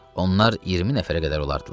Onlar 20 nəfərə qədər olardılar.